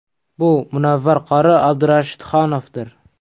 Bu Munavvar qori Abdurashidxonovdir.